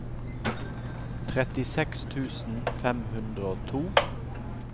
trettiseks tusen fem hundre og to